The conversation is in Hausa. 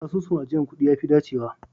Asusun ajiyar kuɗi ya fi dacewa